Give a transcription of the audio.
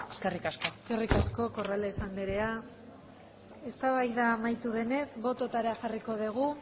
eskerrik asko eskerrik asko corrales anderea eztabaida amaitu denez bototara jarriko dugu